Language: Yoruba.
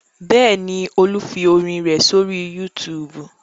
Bẹ́ẹ̀ ni, Olú fi orin rẹ̀ sórí YouTube.